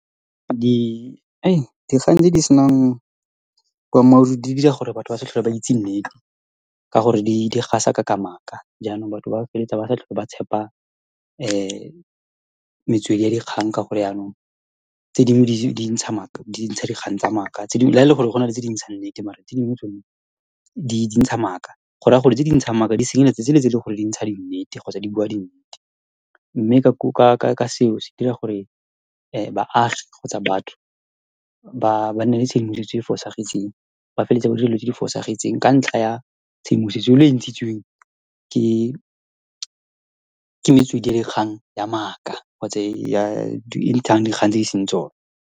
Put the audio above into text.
Dikgang tse di senang boammaaruri di dira gore batho ba sa tlhole ba itse nnete ka gore di gasa ka-ka maaka jaanong batho ba feleletsa ba sa tlhola ba tshepa metswedi ya dikgang ka gore yanong tse dingwe di ntsha dikgang tsa maaka, la ele gore go na le tse di ntshang nnete mare tse dingwe tsone di ntsha maaka go raya gore tse di ntshang maaka di senyeletsa tsele tse ele goreng dintsha di nnete kgotsa di bua di nnete mme ka , ka seo se dira gore baagi kgotsa batho ba nne le tshedimosetso e e fosagetseng ba feleletsa ba dira dilo tse di fosagetseng ka ntlha ya tshedimosetso yone e ntshitsweng ke metswedi ya dikgang ya maaka kgotsa , e ntshang dikgang tse e seng tsone.